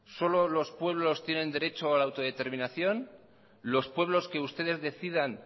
solo los pueblos tienen derecho a la autodeterminación los pueblos que ustedes decidan